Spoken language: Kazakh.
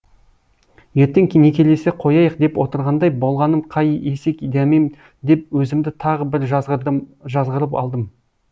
ертең некелесе қояйық деп отырғандай болғаным қай есек дәмем деп өзімді тағы бір жазғырып алдым